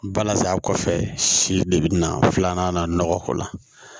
Balasa kɔfɛ si de bi na filanan na nɔgɔ k'o la